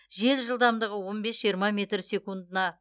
жел жылдамдығы он бес жиырма метр секундына